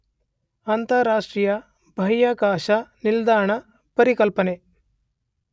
ಅಂತರರಾಷ್ಟ್ರೀಯ ಬಾಹ್ಯಾಕಾಶ ನಿಲ್ದಾಣದ ಪರಿಕಲ್ಪನೆ